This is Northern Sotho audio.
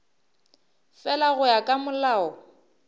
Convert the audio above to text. fela go ya ka molao